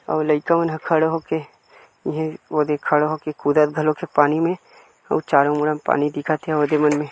अउ लइका मन ह खड़े होके इहे ओदे खड़ा होके कुदत घलोक हे पानी मे और चारो मुड़ा म पानी दिखत हे औदे मन में--